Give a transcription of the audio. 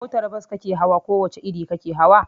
Motar bas kake hawa ko wace iri kake hawa?